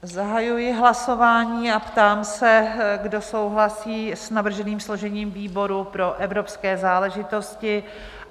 Zahajuji hlasování a ptám se, kdo souhlasí s navrženým složením výboru pro evropské záležitosti?